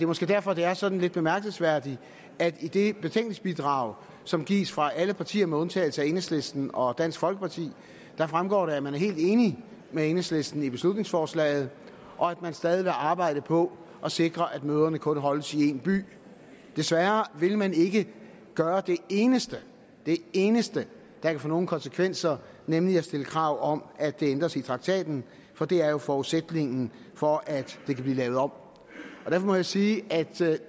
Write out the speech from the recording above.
måske derfor at det er sådan lidt bemærkelsesværdigt at i det betænkningsbidrag som gives fra alle partier med undtagelse af enhedslisten og dansk folkeparti fremgår det at man er helt enig med enhedslisten i beslutningsforslaget og at man stadig vil arbejde på at sikre at møderne kun holdes i en by desværre vil man ikke gøre det eneste det eneste der kan få nogle konsekvenser nemlig at stille krav om at det ændres i traktaten for det er jo forudsætningen for at det kan blive lavet om og derfor må jeg sige at